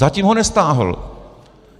Zatím ho nestáhl.